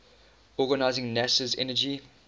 organizing nasa's energy